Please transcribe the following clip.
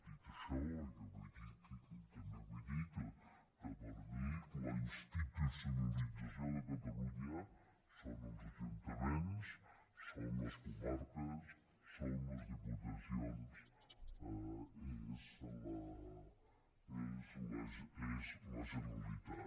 dit això jo també vull dir que per mi la institucionalització de catalunya són els ajuntaments són les comarques són les diputacions és la generalitat